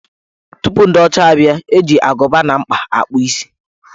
Tupu ndị ọcha abịa, eji agụba na mkpa akpụ isi.